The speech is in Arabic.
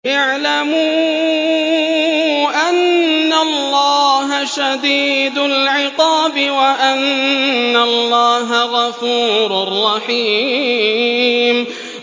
اعْلَمُوا أَنَّ اللَّهَ شَدِيدُ الْعِقَابِ وَأَنَّ اللَّهَ غَفُورٌ رَّحِيمٌ